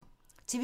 TV 2